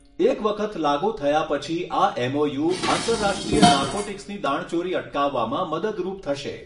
એક વખત લાગુ થયા પછી આ એમઓયુ આંતરરાષ્ટ્રીય નાર્કોટિક્સની દાણચોરી અટકાવવામાં મદદરૂપ થશે.